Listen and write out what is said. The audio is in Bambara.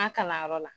An ka kalanyɔrɔ la